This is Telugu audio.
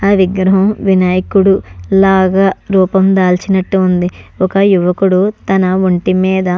ఈ విగ్రహం వినాయకుడు లాగా రూపం దళిచినట్టుగా వుంది ఒక యివకుడు తన వొంటి మీద --